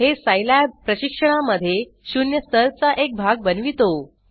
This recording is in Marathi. हे सिलाब प्रशिक्षणा मध्ये शून्य स्तर चा एक भाग बनवितो